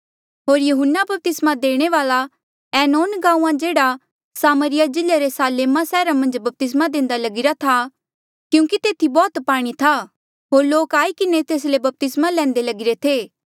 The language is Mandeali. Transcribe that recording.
होर यहून्ना बपतिस्मा देणे वाल्आ ऐनोन गांऊँआं जेह्ड़ा सामरिया जिल्ले रे सालेमा सैहरा मन्झ बपतिस्मा देंदा लगिरा था क्यूंकि तेथी बौह्त पाणी था होर लोक आई किन्हें तेस ले बपतिस्मा लैंदे लगीरे थे